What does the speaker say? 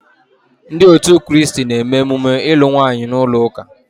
Ndi otu kristi na-eme emume ilu nwaanyi n'ulo uka